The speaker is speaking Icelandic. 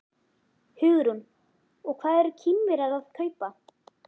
Hugrún: Og hvað eru Kínverjarnir að kaupa?